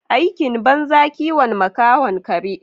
Aikin banza kiwon makahon kare.